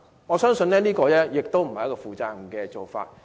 我相信這絕非負責任的做法。